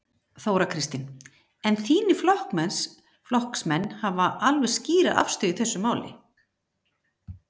Þóra Kristín: En þínir flokksmenn hafa alveg skýra afstöðu í þessu máli?